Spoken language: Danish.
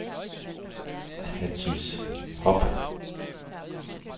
Hatice Hoppe